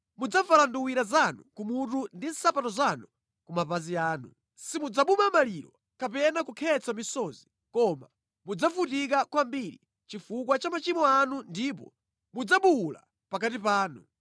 Mudzavala nduwira zanu kumutu ndi nsapato zanu ku mapazi anu. Simudzabuma maliro kapena kukhetsa misozi koma mudzavutika kwambiri chifukwa cha machimo anu ndipo mudzabuwula pakati panu.